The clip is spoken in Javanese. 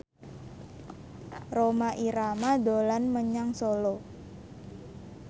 Rhoma Irama dolan menyang Solo